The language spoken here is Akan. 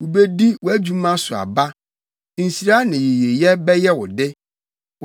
Wubedi wʼadwuma so aba; nhyira ne yiyedi bɛyɛ wo de.